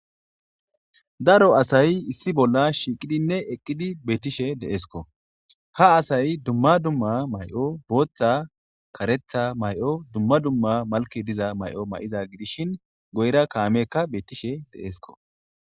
Daro asay issi bolla shiiqidinne eqqidi bettishe deeeskko ha asay dumma dumma may'o booththa karetha may'o dumma dumma malke diza may'o may'iza gidishin goyra kaamekka beettishe deesko.